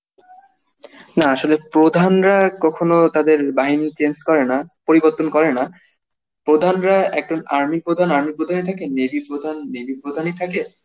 না আসলে প্রধানরা কখনো তাদের বাহিনী change করে না, পরিবর্তন করে না প্রধানরা একজন army প্রধান army প্রধানই থাকে, navy প্রধান navy প্রধানই থাকে